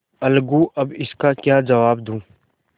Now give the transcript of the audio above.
अलगूअब इसका क्या जवाब दूँ